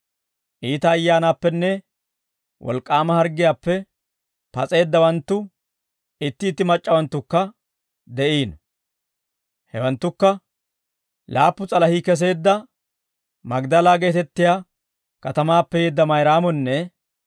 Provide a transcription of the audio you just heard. Iita ayyaanaappenne wolk'k'aama harggiyaappe pas'eeddawanttu itti itti mac'c'awanttukka de'iino. Hewanttukka: Laappu s'alahii keseedda Magdala geetettiyaa katamaappe yeedda Mayraamonne,